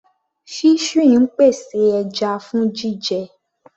Fishery ń pèsè ẹja fún jíjẹ.